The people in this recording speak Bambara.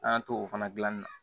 An y'an to o fana dilanni na